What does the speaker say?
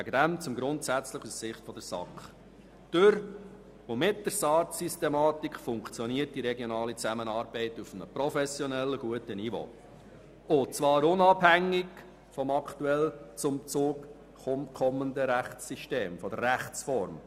Durch und mit der SARZ-Systematik funktioniert die regionale Zusammenarbeit auf einem professionellen, guten Niveau und zwar unabhängig von der aktuell zum Zug kommenden Rechtsform in den Regionen.